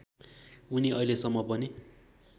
उनी अहिलेसम्म पनि